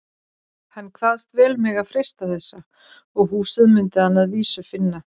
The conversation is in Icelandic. Hann kvaðst vel mega freista þessa, og húsið mundi hann að vísu finna.